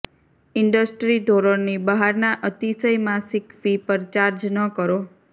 industry ધોરણની બહારના અતિશય માસિક ફી પર ચાર્જ ન કરો